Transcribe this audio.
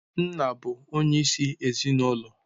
Nna bụ onyeisi ezinụlọ.